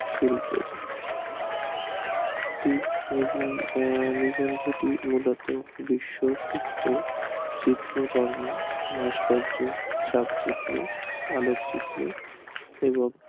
শিল্পের একটি নিবন্ধটি মূলত চিত্র কর্ম ভাস্কর্য চালচিত্র আলোকচিত্র এবং